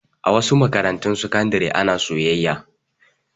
A wasu makarantun sakandare ana soyayya.